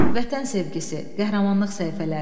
Vətən sevgisi, qəhrəmanlıq səhifələri.